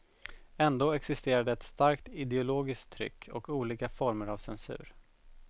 Ändå existerade ett starkt ideologiskt tryck och olika former av censur.